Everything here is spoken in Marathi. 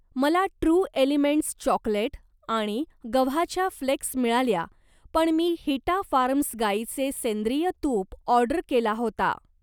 मला ट्रू एलिमेंट्स चॉकलेट आणि गव्हाच्या फ्लेक्स मिळाल्या पण मी हिटा फार्म्स गाईचे सेंद्रिय तूप ऑर्डर केला होता.